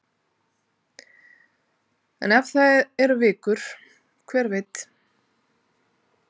En ef það eru vikur, hver veit?